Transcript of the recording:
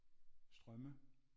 Strømme